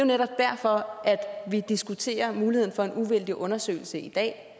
netop derfor at vi diskuterer muligheden for en uvildig undersøgelse i dag